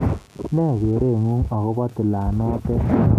Ne gereet ng'ung agobo tilet noto